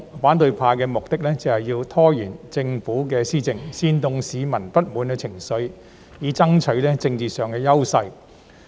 反對派目的是想拖延政府施政，煽動市民的不滿情緒，以爭取政治上的優勢。